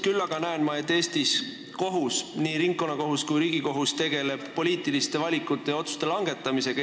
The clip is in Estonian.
Küll aga näen ma, et Eestis kohus – nii ringkonnakohus kui Riigikohus – tegeleb poliitiliste valikute ja otsuste langetamisega.